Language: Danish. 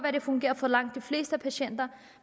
at det fungerer for langt de fleste patienter